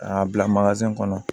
K'a bila kɔnɔ